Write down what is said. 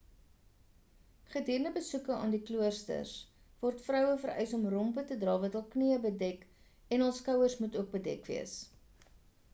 gedurende besoeke aan die kloosters word vroue vereis om rompe te dra wat hul knieë bedek en hul skouers moet ook bedek wees